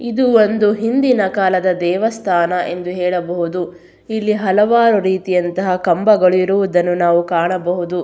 ಇದು ಒಂದು ಹಿಂದಿನ ಕಾಲದ ದೇವಸ್ಥಾನ ಎಂದು ಹೇಳಬಹುದು ಇಲ್ಲಿ ಹಲವಾರು ರೀತಿಯಂತಹ ಕಂಬಗಳು ಇರುವುದನ್ನು ನಾವು ಕಾಣಬಹುದು.